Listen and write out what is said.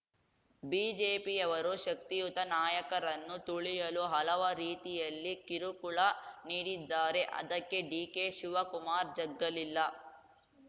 ಬಿಜೆಪಿಯವರು ಶಕ್ತಿಯುತ ನಾಯಕರನ್ನು ತುಳಿಯಲು ಹಲವ ರೀತಿಯಲ್ಲಿ ಕಿರುಕುಳ ನೀಡಿದ್ದಾರೆ ಅದಕ್ಕೆ ಡಿಕೆಶಿವಕಮಾರ್‌ ಜಗ್ಗಲಿಲ್ಲ